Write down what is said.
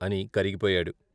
అని కరిగిపోయాడు.